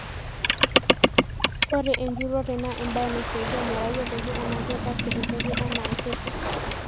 Ore enjurrore naa embae naisaidia metayioloki enaa ketaase entoki enaa kitu